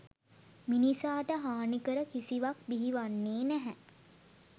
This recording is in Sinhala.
මිනිසාට හානිකර කිසිවක් බිහි වන්නේ නැහැ.